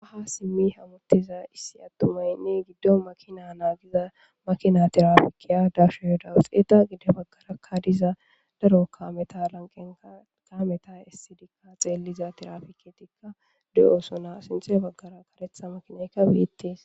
Haha simmi hamuttiza issi attumaynne giddo makina naagiza makina tirafikiya dashuhdawuxeeta gide baggarakka diza daro kaameta lanqenkameta issidikka xeelliza tirafiketikka de'osona sinte baggara karetha makinaykka biittes.